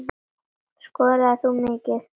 Skoraðir þú mikið?